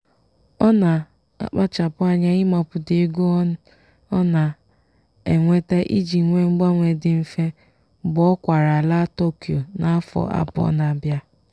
ọ na-akpachapụ anya ịmapụta ego ọ na-enweta iji nwee mgbanwe dị mfe mgbe ọ kwaara laa tokyo n'afọ abụọ n'abịa.